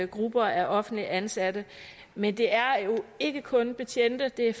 grupper af offentligt ansatte men det er jo ikke kun betjente det er